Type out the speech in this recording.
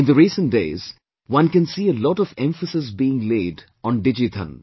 In the recent days, one can see a lot of emphasis being laid on DigiDhan